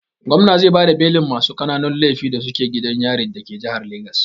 Gomna zai bada belin masu ƙananun laifi da suke gidan yarin dake jihar Legas.